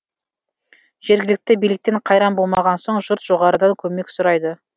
жергілікті биліктен қайран болмаған соң жұрт жоғарыдан көмек сұрайды